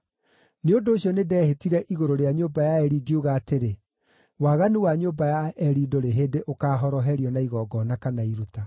Nĩ ũndũ ũcio nĩndehĩtire igũrũ rĩa nyũmba ya Eli ngiuga atĩrĩ, ‘Waganu wa nyũmba ya Eli ndũrĩ hĩndĩ ũkaahoroherio na igongona kana iruta.’ ”